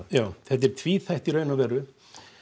þetta er tvíþætt í raun og veru